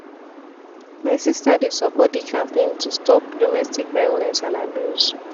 my sista dey support di campaign to stop domestic violence and abuse.